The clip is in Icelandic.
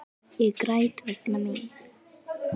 Ég græt vegna mín.